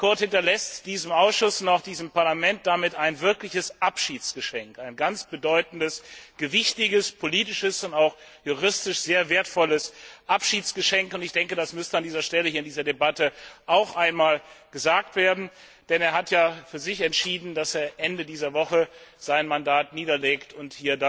Kurt hinterlässt diesem Ausschuss und auch diesem Parlament ein wirkliches Abschiedsgeschenk, ein sehr bedeutendes, gewichtiges, politisches und auch juristisch sehr wertvolles Abschiedsgeschenk, und ich glaube, das müsste an dieser Stelle, hier in dieser Debatte, auch einmal gesagt werden, denn er hat ja für sich entschieden, dass er Ende dieser Woche sein Mandat niederlegt und